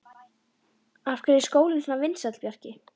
Af hverju er skólinn svona vinsæll, Bjarki?